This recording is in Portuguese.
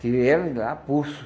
Tirei ela de lá, a pulso.